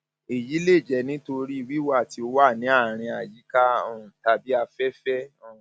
èyí lè jẹ nítorí wíwà tí ó wà ní àárín àyíká um tàbí afẹfẹ um